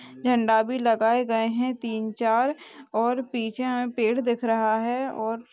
झंडा भी लगाए गए हैं तीन-चार और पीछे में पेड़ दिख रहा है और--